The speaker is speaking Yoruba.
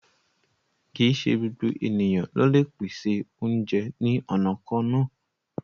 Kí í ṣè gbogbo ènìyàn ló le pèsè ọ̀unjẹ ni ọna kanna